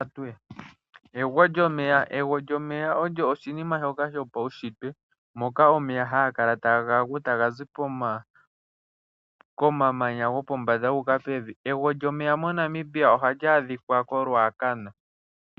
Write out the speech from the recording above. Ego lyomeya, ego lyomeya olyo oshinima shoka shopawunshitwe, mpoka omeya yagakala tagagu takazi komamanya gopombanda guka pevi, Ego lyomeya moNamibia ohali adhika koRuacana.